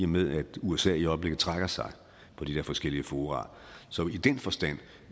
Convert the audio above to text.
med at usa i øjeblikket trækker sig fra de her forskellige fora så i den forstand